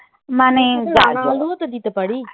মানে রাঙা আলু ও তো দিতে পারি.